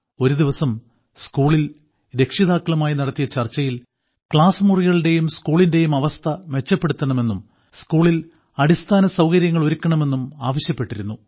ഒരു ദിവസം സ്കൂളിൽ രക്ഷിതാക്കളുമായി നടത്തിയ ചർച്ചയിൽ ക്ലാസ്സ് മുറികളുടെയും സ്കൂളിന്റെയും അവസ്ഥ മെച്ചപ്പെടുത്തണമെന്നും സ്കൂളിൽ അടിസ്ഥാനസൌകര്യങ്ങൾ ഒരുക്കണമെന്നും ആവശ്യപ്പെട്ടിരുന്നു